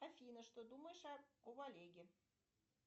афина что думаешь об олеге